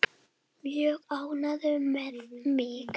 Mjög ánægður með mig.